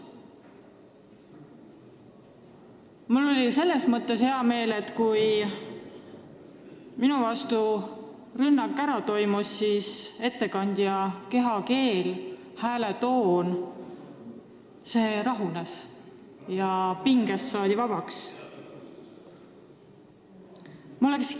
Samas oli mul hea meel, et kui rünnak minu vastu oli ära toimunud, siis ettekandja kehakeel ja hääletoon andsid märku, et ta on rahunenud ja pingest vabaks saanud.